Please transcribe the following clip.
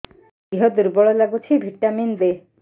ଦିହ ଦୁର୍ବଳ ଲାଗୁଛି ଭିଟାମିନ ଦେ